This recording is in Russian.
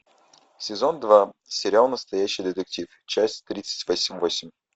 сезон два сериал настоящий детектив часть тридцать восемь